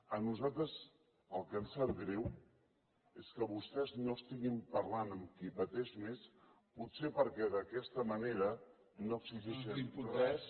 a nosaltres el que ens sap greu és que vostès no estiguin parlant amb qui pateix més potser perquè d’aquesta manera no exigeixen res